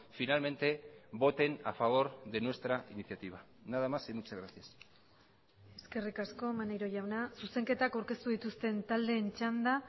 finalmente voten a favor de nuestra iniciativa nada más y muchas gracias eskerrik asko maneiro jauna zuzenketak aurkeztu dituzten taldeen txanda